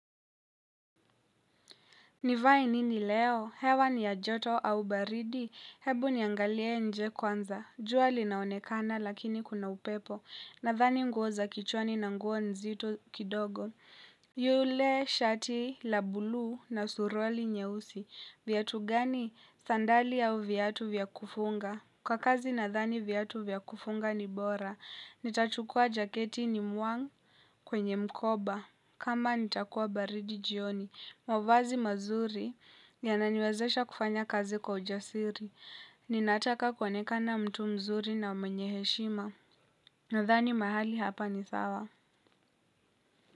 Nivae nini leo? Hewa ni ya joto au baridi? Hebu niangalie nje kwanza. Jua linaonekana lakini kuna upepo. Nathani nguo za kichwani na nguo nzito kidogo. Yule shati la bulu na suruali nyeusi. Viatu gani? Sandali au viatu vyakufunga? Kwa kazi nathani viatu vyakufunga ni bora, nitachukua jaketi ni muang kwenye mkoba, kama nitakuwa baridi jioni. Mavazi mazuri yananiwezesha kufanya kazi kwa ujasiri, ninataka kuoneka na mtu mzuri na mwenye heshima. Nathani mahali hapa ni sawa.